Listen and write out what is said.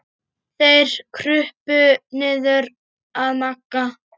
Þeir krupu niður að Magga.